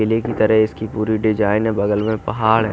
पहले की तरह इसकी पूरी डीजाने बगल में पहाड हैं।